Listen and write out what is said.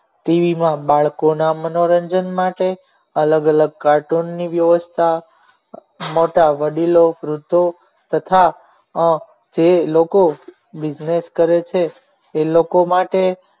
tv માં બાળકોના મનોરંજન માટે અલગ અલગ cartoon ની વ્યવસ્થા મોટા વડીલો વૃદ્ધો તથા જે લોકો business કરે છે એ લોકો માટે